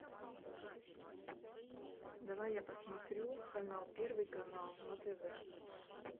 давай я посмотрю канал первый канал на тв